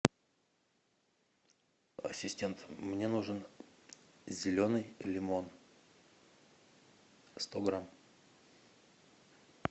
ассистент мне нужен зеленый лимон сто грамм